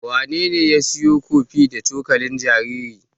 Wanene ya siyo kofi da cokalin jaririn?